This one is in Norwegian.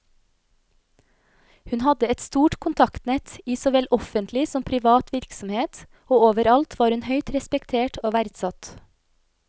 Hun hadde et stort kontaktnett i såvel offentlig som privat virksomhet, og overalt var hun høyt respektert og verdsatt.